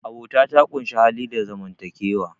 abota ta ƙunshi hali da zaman takewa